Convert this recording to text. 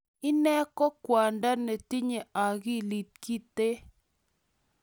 Inne ko kwongdo nitenye akili kinto.